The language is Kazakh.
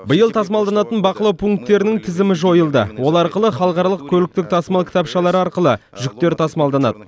биыл тасымалданатын бақылау пункттерінің тізімі жойылды ол арқылы халықаралық көліктік тасымал кітапшалары арқылы жүктер тасымалданады